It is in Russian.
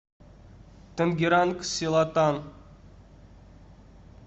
тангеранг селатан